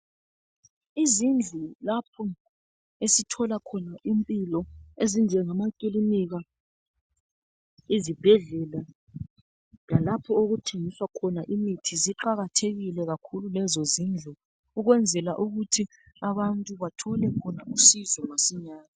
Izindlu lapho esithola khona impilo ezinjengama kilinika, izibhedlela lalapho okuthengiswa khona imithi ziqakathekile kakhulu lezo zindlu ukwenzela ukuthi abantu bathole khona usizo masinyane.